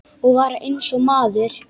Og var eins og maður.